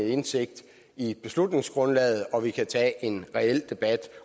indsigt i beslutningsgrundlaget og vi kan tage en reel debat